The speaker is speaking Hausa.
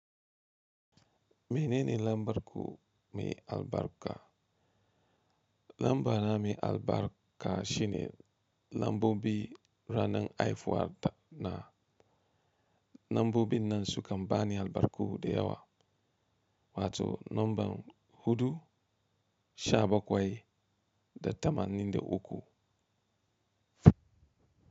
Menene lambar ku mai albarka? Lambu na mai albarka shine lambubi ranar haihuwa na. Lambubi nan sukan bani albarku da yawa wato lambu hudu sha bakwai da tamanin da uku.